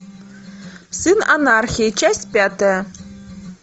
сын анархии часть пятая